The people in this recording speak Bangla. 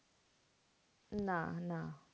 না না